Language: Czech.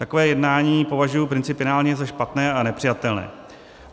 Takové jednání považuji principiálně za špatné a nepřijatelné.